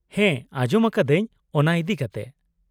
-ᱦᱮᱸ ᱟᱡᱚᱢ ᱟᱠᱟᱫᱟᱹᱧ ᱚᱱᱟ ᱤᱫᱤᱠᱟᱛᱮ ᱾